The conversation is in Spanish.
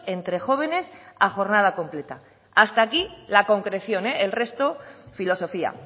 entre jóvenes a jornada completa hasta aquí la concreción el resto filosofía